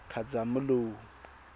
khazamula